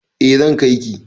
E, zan kai ki